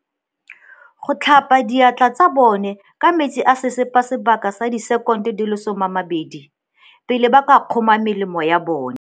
Go tlhapa diatla tsa bone ka metsi a sesepa sebaka sa disekono di le 20, pele ba ka kgoma melemo ya bona.